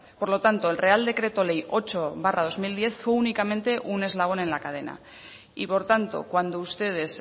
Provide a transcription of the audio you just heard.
por lo tanto el real decreto ley ocho barra dos mil diez fue únicamente un eslabón en la cadena y por tanto cuando ustedes